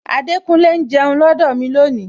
Adekunle ń jẹun lọdọ mi lónìí